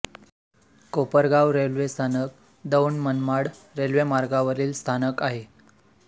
Kopargaon railway स्थानक दौंड मनमाड रेल्वेमार्गावरील स्थानक आहे